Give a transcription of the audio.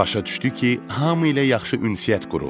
Başa düşdü ki, hamı ilə yaxşı ünsiyyət qurub.